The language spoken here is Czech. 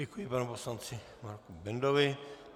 Děkuji panu poslanci Marku Bendovi.